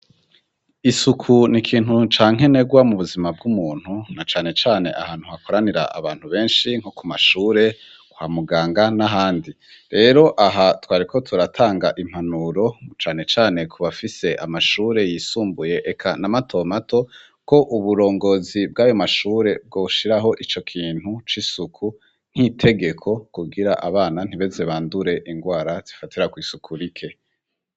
Isuku ni kintu ca nkenegwa mu buzima bw'umuntu na cane cane ahantu hakoranira abantu benshi nko ku mashure, kwa muganga, n'ahandi. Rero aha twariko turatanga impanuro cane cane ku bafise amashure yisumbuye eka na mato mato, ko uburongozi bw'ayo mashure bwoshiraho ico kintu c'isuku nk'itegeko kugira abana ntibaze bandure ingwara zifatira kw'isuku rike.